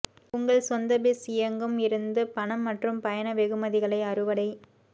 உங்கள் சொந்த பிஸ் இயங்கும் இருந்து பணம் மற்றும் பயண வெகுமதிகளை அறுவடை